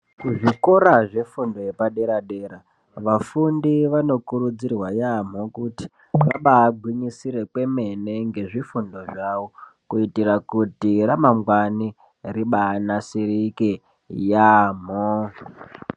Kuzvikora zvefundo yepadera dera vafundi vanokurudzirwa yaamho kuti vabaagwinyisire kwemene ngezvifundo zvavo kuitira kuti ramangwani ribaanasirike yaamho.